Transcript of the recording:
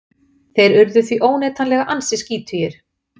þeir urðu því óneitanlega ansi skítugir